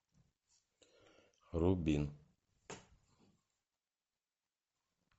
рубин